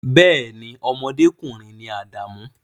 Bee ni, ọmọdékùnrin ni Adamu